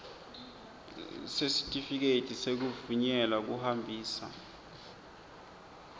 sesitifiketi sekuvunyelwa kuhambisa